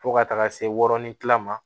Fo ka taga se wɔɔrɔni kilan ma